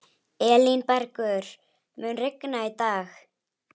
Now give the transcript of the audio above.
Elínbergur, mun rigna í dag?